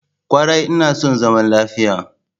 Kwarai ina son zaman lafiya.